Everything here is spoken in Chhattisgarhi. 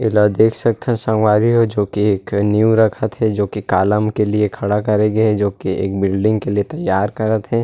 एला देख सकथन संगवारी हो जोकि एक न्यू रखत हे जोकि कॉलम के लिए खड़ा करे गे जोकि एक बिल्डिंग के लिए तैयार करत हे।